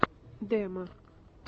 демо